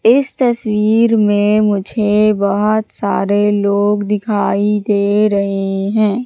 इस तस्वीर में मुझे बहोत सारे लोग दिखाई दे रहे हैं।